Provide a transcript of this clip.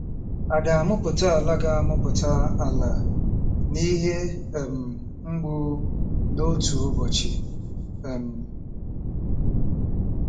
À ga-amụpụta ala ga-amụpụta ala n'ihe um mgbu n'otu ụbọchị um?